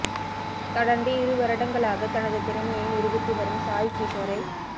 தொடர்ந்து இரு வருடங்களாகத் தனது திறமையை நிரூபித்து வரும் சாய் கிஷோரை